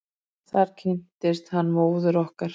Þar kynntist hann móður okkar.